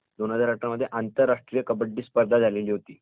दोन हजार अठरा मध्ये आंतरराष्ट्रीय कबड्डी स्पर्धा झाली होती.